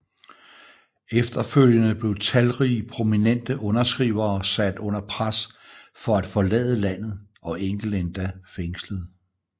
Efterfølgende blev talrige prominente underskrivere sat under pres for at forlade landet og enkelte endda fængslet